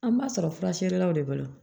An b'a sɔrɔ fura feerelaw de b'o la